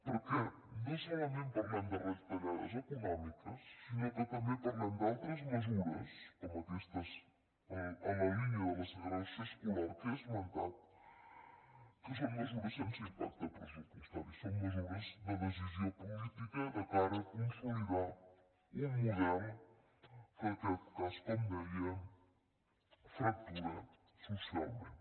perquè no solament parlem de retallades econòmiques sinó que també parlem d’altres mesures com aquestes en la línia de la segregació escolar que he esmentat que són mesures sense impacte pressupostari són mesures de decisió política de cara a consolidar un model que en aquest cas com deia fractura socialment